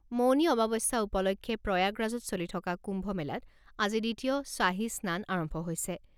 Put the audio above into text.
মৌনী অমাৱস্যা উপলক্ষে প্ৰয়াগৰাজত চলি থকা কুম্ভ মেলাত আজি দ্বিতীয় শ্বাহী স্নান আৰম্ভ হৈছে।